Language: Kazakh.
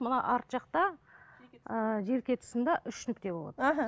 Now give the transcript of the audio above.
мына арт жақта желке тұсында үш нүкте болады